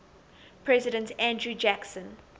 president andrew jackson